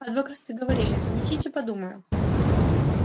адвокаты говорили занесите подумаю